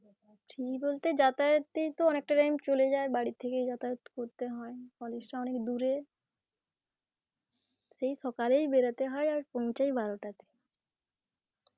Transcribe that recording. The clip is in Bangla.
free বলতে যাতায়াতেই তো অনেকটা time চলে যায়, বাড়ি থেকেই যাতায়াত করতে হয় college টা অনেক দুরে, সেই সকালেই বেরোতে হয় আর পৌঁছায় বারোটা